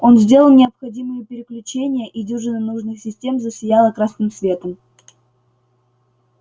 он сделал необходимые переключения и дюжина нужных систем засияла красным светом